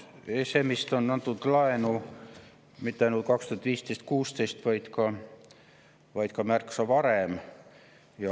ESM‑ist anti laenu mitte ainult 2015 ja 2016, vaid ka märksa varem.